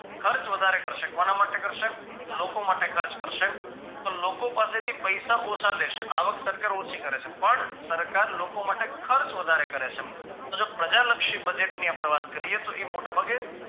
ખર્ચ વધારે કરશે કોના માટે કરશે લોકો માટે ખર્ચ કરશે તો લોકો પાસેથી પૈસા ઓછા લેશે આવક સરકાર ઓછી કરે છે પણ સરકાર લોકો માટે ખર્ચ વધારે કરે છે તો જો પ્રજાલક્ષી budget ની આપણે વાત કરીએ તો એ મોટા ભાગે